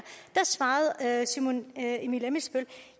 svarede herre simon emil ammitzbøll